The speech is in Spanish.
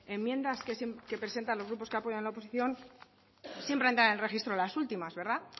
enmiendas que presentan los grupos que apoyan la oposición siempre entran en registro las últimas verdad